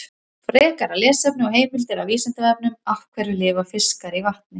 Frekara lesefni og heimildir á Vísindavefnum: Af hverju lifa fiskar í vatni?